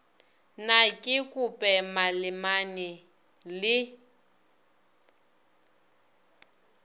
na ke kope malemane le